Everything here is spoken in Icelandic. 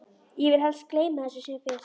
Ég vil helst gleyma þessu sem fyrst.